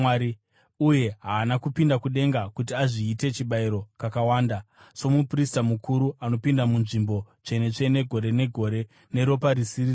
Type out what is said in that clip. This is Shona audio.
Uye haana kupinda kudenga kuti azviite chibayiro kakawanda, somuprista mukuru anopinda muNzvimbo Tsvene-tsvene, gore negore, neropa risiri rake.